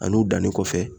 Ani u danni kɔfɛ